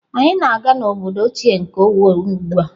Anyị na-aga n'obodo ochie nke Owo ugbu a.